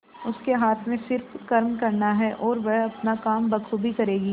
उसके हाथ में सिर्फ कर्म करना है और वह अपना काम बखूबी करेगी